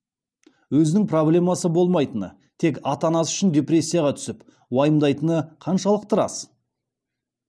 өзінің проблемасы болмайтыны тек ата анасы үшін депрессияға түсіп уайымдайтыны қаншалықты рас